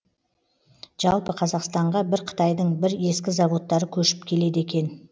жалпы қазақстанға бір қытайдың бір ескі заводтары көшіп келеді екен